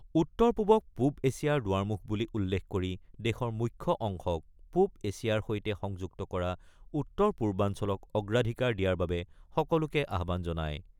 উত্তৰ - পূৱক পূৱ এছিয়াৰ দুৱাৰমুখ বুলি উল্লেখ কৰি দেশৰ মুখ্য অংশক পূৱ এচিয়াৰ সৈতে সংযুক্ত কৰা উত্তৰ পূৰ্বাঞ্চলক অগ্ৰাধিকাৰ দিয়াৰ বাবে সকলোকে আহ্বান জনায়।